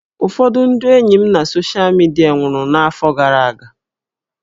Ụfọdụ ndị enyi m na soshal midia nwụrụ n'afọ gara aga